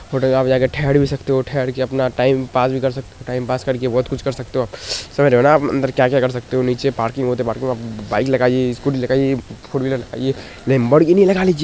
hotel में जा कर ठेहर भी सकते हो ठेहर कर अपना टाइम पास कर सकते है टाइम पास कर बहुत कुछ कर सकते हो समझ रहे हो ना अंदर क्या क्या कर सकते हो नीचे पार्किंग लॉन है पार्किंग में बाइक लगाई है स्कूटी लगाई है लंबरगीनी लगा ली--